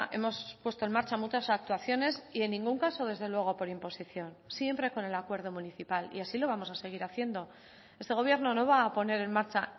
hemos puesto en marcha muchas actuaciones y en ningún caso desde luego por imposición siempre con el acuerdo municipal y así lo vamos a seguir haciendo este gobierno no va a poner en marcha